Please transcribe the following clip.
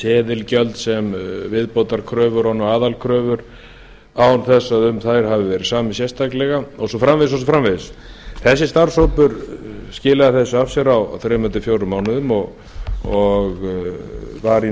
seðilgjöld sem viðbótarkröfur ofan á aðalkröfur án þess að um þær hafi verið samið sérstaklega og svo framvegis þessi starfshópur skilaði þessu af sér á þremur